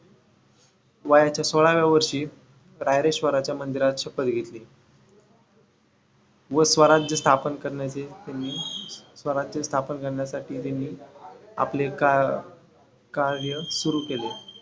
वयाच्या सोळाव्या वर्षी रायरेश्वरच्या मंदिरात शपथ घेतली. व स्वराज स्थापन करण्याचे त्यांनी स्वराज स्थापन करण्यासाठी त्यांनी आपले कार कार्य सुरू केले.